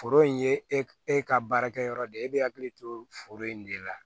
Foro in ye e ka baarakɛyɔrɔ de ye e bɛ hakili to foro in de la